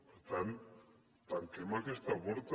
per tant tanquem aquesta porta